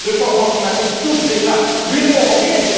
Le changement climatique touche déjà l'Union européenne